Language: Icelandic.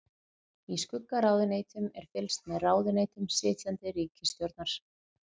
Í skuggaráðuneytum er fylgst með ráðuneytum sitjandi ríkisstjórnar.